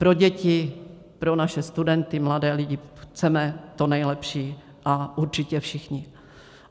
Pro děti, pro naše studenty, mladé lidi chceme to nejlepší a určitě všichni.